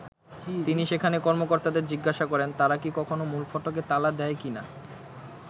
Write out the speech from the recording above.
তিনি সেখানে কর্মকর্তাদের জিজ্ঞাসা করেন, তারা কি কখনো মূল ফটকে তালা দেয় কি না।